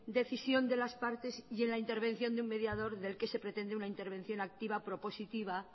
decisión de las partes y en la intervención de un mediador del que se pretende una intervención activa propositiva